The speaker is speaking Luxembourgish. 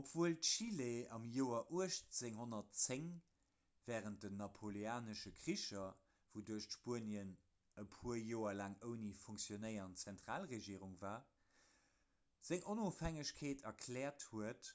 obwuel chile am joer 1810 wärend den napoleonesche kricher wouduerch spuenien e puer joer laang ouni funktionéierend zentralregierung war seng onofhängegkeet erkläert huet